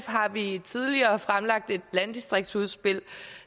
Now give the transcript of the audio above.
har vi tidligere fremlagt et landdistriktsudspil